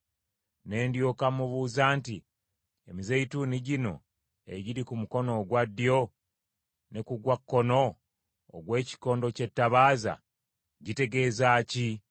Ne ndyoka mubuuza nti, “Emizeeyituuni gino ebiri ku mukono ogwa ddyo ne ku gwa kkono ogw’ekikondo ky’ettabaaza, gitegeeza ki?”